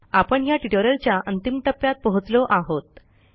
आपण ह्या ट्युटोरियलच्या अंतिम टप्प्यात पोहोचलो आहोत